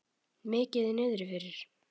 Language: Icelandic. Mikið niðri fyrir.